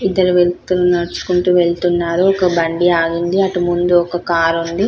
ఇద్దరు వెళ్తున్నారు నడుచుకుంటూ వెళ్తున్నారు ఒక బండి ఆగింది అటు ముందు ఒక కార్ ఉంది